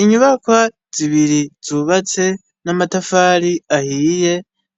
Inyubaka zibiri zubatse n'amatafari ahiye,